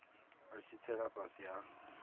a tshi tsela fhasi ha